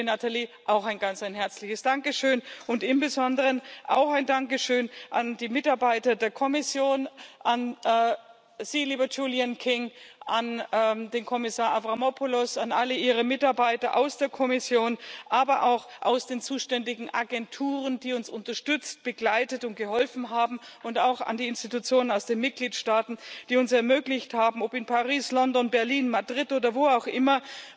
Dir, liebe Nathalie, auch ein ganz herzliches Dankeschön, und im Besonderen auch ein Dankeschön an die Mitarbeiter der Kommission, an Sie, lieber Julian King, an den Kommissar Avramopoulos, an alle Ihre Mitarbeiter aus der Kommission, aber auch aus den zuständigen Agenturen, die uns unterstützt, begleitet und geholfen haben, und auch an die Institutionen aus den Mitgliedstaaten, die uns ermöglicht haben ob in Paris, London, Berlin, Madrid oder wo auch immer